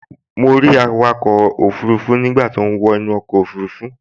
Mo rí awakọ̀ òfurufú nígbà tó ń wọ inú ọkọ̀ òfurufú